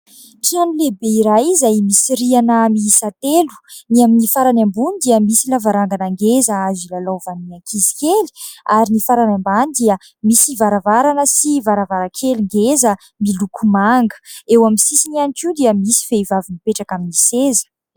Trano lehibe iray izay misy rihana miisa telo : ny amin'ny farany ambony dia misy lavarangana ngeza azo ilalaovan'ny ankizy kely ary ny farany ambany dia misy varavarana sy varavarankely ngeza miloko manga, eo amin'ny sisiny ihany koa dia misy vehivavy mipetraka amin'ny seza.